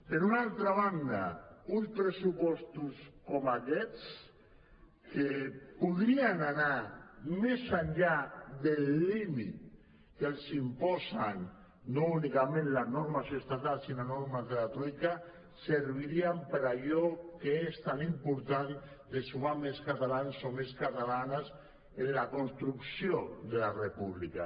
per una altra banda uns pressupostos com aquests que podrien anar més enllà del límit que els imposen no únicament les normes estatals sinó les normes de la troica servirien per a allò que és tan important de sumar més catalans o més catalanes en la construcció de la república